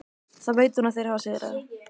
Þá veit hún að þeir hafa sigrað.